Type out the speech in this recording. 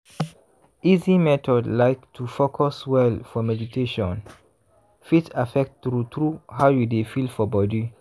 easy method like to fcus well for meditataion fit affect true true how you dey feel for body.